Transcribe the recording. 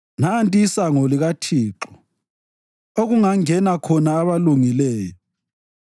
Nanti isango likaThixo okungangena khona abalungileyo.